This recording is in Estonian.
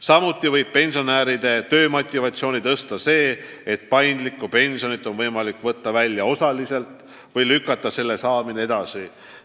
Samuti võib pensionäre innustada tööl käima see, et paindlikku pensioni on võimalik võtta välja osaliselt või lükata selle saamine edasi.